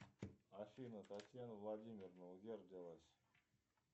афина татьяна владимировна где родилась